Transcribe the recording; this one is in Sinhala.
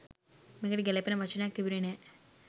මේකට ගැළපෙන වචනයක් තිබුණේ නෑ.